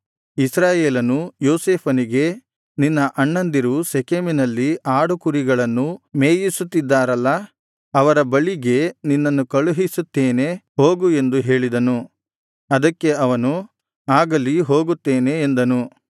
ಇಸ್ರಾಯೇಲನು ಯೋಸೇಫನಿಗೆ ನಿನ್ನ ಅಣ್ಣಂದಿರು ಶೆಕೆಮಿನಲ್ಲಿ ಆಡುಕುರಿಗಳನ್ನು ಮೇಯಿಸುತ್ತಿದ್ದಾರಲ್ಲಾ ಅವರ ಬಳಿಗೆ ನಿನ್ನನ್ನು ಕಳುಹಿಸುತ್ತೇನೆ ಹೋಗು ಎಂದು ಹೇಳಿದನು ಅದಕ್ಕೆ ಅವನು ಆಗಲಿ ಹೋಗುತ್ತೇನೆ ಎಂದನು